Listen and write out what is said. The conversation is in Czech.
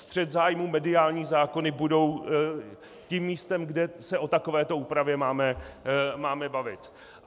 Střet zájmů, mediální zákony budou tím místem, kde se o takovéto úpravě máme bavit.